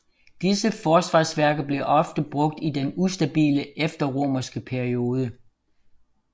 Disse forsvarsværker blev ofte genbrugt i den ustabile efterromerske periode